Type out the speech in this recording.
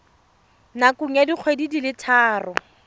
nakong ya dikgwedi di le